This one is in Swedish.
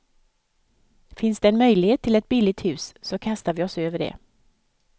Finns det en möjlighet till ett billigt hus så kastar vi oss över det.